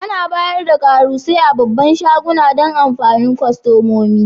Ana bayar da karusai a babban shaguna Dan amfanin kostomomi.